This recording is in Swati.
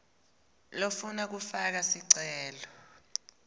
lofuna kufaka sicelo